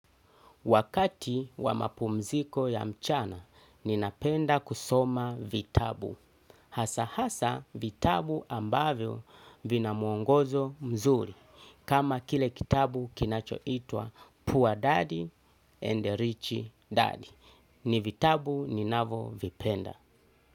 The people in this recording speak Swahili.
Wakati wa mapumziko ya mchana, ninapenda kusoma vitabu. Hasa hasa vitabu ambavyo vina mwongozo mzuri. Kama kile kitabu kinachoitwa Poor Daddy and Rich Daddy. Ni vitabu ninavyovipenda.